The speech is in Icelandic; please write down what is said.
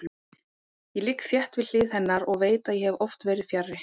Ég ligg þétt við hlið hennar og veit að ég hef oft verið fjarri.